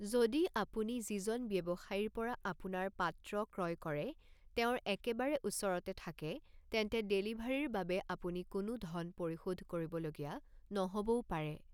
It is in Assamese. যদি আপুনি যিজন ব্যৱসায়ীৰ পৰা আপোনাৰ পাত্ৰ ক্ৰয় কৰে তেওঁৰ একেবাৰে ওচৰতে থাকে, তেন্তে ডেলিভাৰীৰ বাবে আপুনি কোনো ধন পৰিশোধ কৰিবলগীয়া নহ'বও পাৰে।